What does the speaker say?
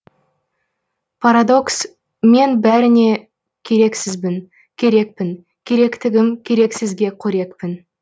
парадокс мен бәріне керексізбін керекпін керектігім керексізге қорекпін